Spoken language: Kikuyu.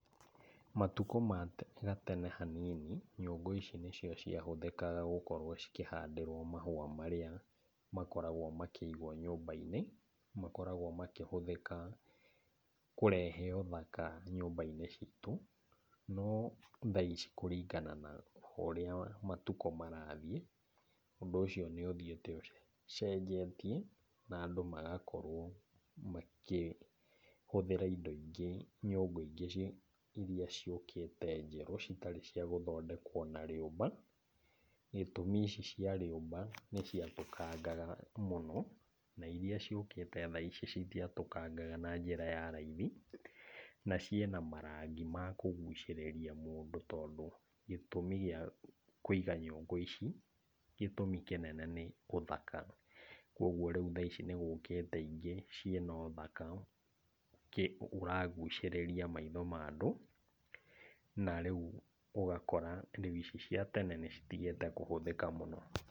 Matukũ ma gatene hanini, nyũngũ ici nĩcio ciahũthĩkaga gũkorwo cikĩhandĩrwo mahũa marĩa makoragwo makĩigwo nyũmba-inĩ, makoragwo makĩhũthĩka kũrehe ũthaka nyũmba-inĩ citũ, no thaa ici kũringana na ũrĩa matukũ marathiĩ, ũndũ ũcio nĩ ũthiĩte ũcenjetie na andũ magakorwo makĩhũthĩra indo ingĩ nyũngũ ingĩ iria ciũkĩte njerũ citarĩ cia gũthondekwo na rĩũmba, gĩtũmi ici cia rĩũmba nĩ ciatũangaga mũno, na iria ciũkĩte thaa ici citiatũkangaga na njĩra ya raithi, na ciĩna marangi ma kũgucĩrĩria mũndũ, tondũ gĩtũmi gĩa kũiga nyũngũ ici gĩtũmi kĩnene nĩ ũthaka, kuoguo rĩu thaa ici nĩgũkĩte ingĩ ciĩna ũthaka ũragucĩrĩria maitho ma andũ na rĩu ũgakora rĩu ici cia tene nĩ citigĩte kũhũthĩka mũno.